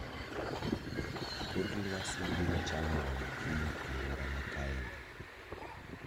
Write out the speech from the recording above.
Kor lwasi biro chalo nade kiny aluora makaeni